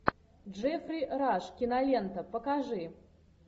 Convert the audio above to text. джеффри раш кинолента покажи